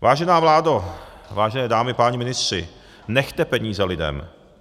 Vážená vládo, vážené dámy, páni ministři, nechte peníze lidem.